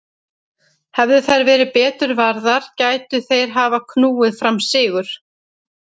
Hefðu þær verið betur varðar gætu þeir hafa knúið fram sigur.